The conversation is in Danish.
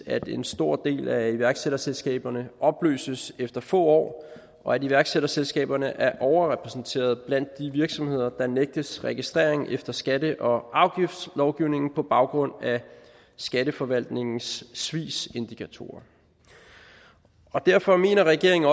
at en stor del af iværksætterselskaberne opløses efter få år og at iværksætterselskaberne er overrepræsenterede blandt de virksomheder der nægtes registrering efter skatte og afgiftslovgivningen på baggrund af skatteforvaltningens svigsindikatorer derfor mener regeringen